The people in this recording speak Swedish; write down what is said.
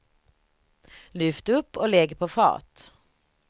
Lyft upp och lägg på fat.